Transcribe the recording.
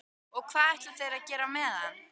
Og hvað ætla þeir að gera á meðan?